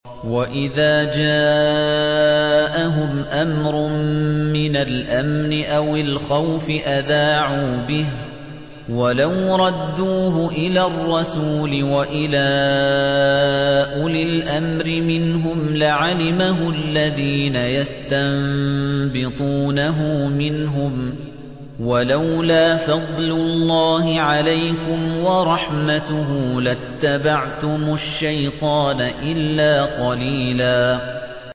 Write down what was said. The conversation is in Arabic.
وَإِذَا جَاءَهُمْ أَمْرٌ مِّنَ الْأَمْنِ أَوِ الْخَوْفِ أَذَاعُوا بِهِ ۖ وَلَوْ رَدُّوهُ إِلَى الرَّسُولِ وَإِلَىٰ أُولِي الْأَمْرِ مِنْهُمْ لَعَلِمَهُ الَّذِينَ يَسْتَنبِطُونَهُ مِنْهُمْ ۗ وَلَوْلَا فَضْلُ اللَّهِ عَلَيْكُمْ وَرَحْمَتُهُ لَاتَّبَعْتُمُ الشَّيْطَانَ إِلَّا قَلِيلًا